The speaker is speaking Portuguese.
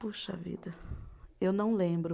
Puxa vida, eu não lembro.